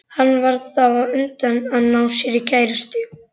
Hann varð þá á undan að ná sér í kærustu.